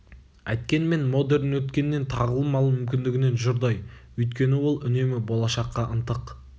әйткенмен модерн өткеннен тағлым алу мүмкіндігінен жұрдай өйткені ол үнемі болашаққа ынтық